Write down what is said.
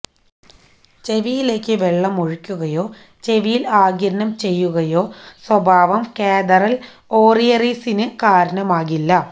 ചെവിയിലേക്ക് വെള്ളം ഒഴിക്കുകയോ ചെവിയിൽ ആഗിരണം ചെയ്യുകയോ സ്വഭാവം കാതറൽ ഓറിയെറിസിന് കാരണമാകില്ല